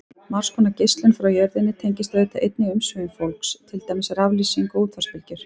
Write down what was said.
Margs konar geislun frá jörðinni tengist auðvitað einnig umsvifum fólks, til dæmis raflýsing og útvarpsbylgjur.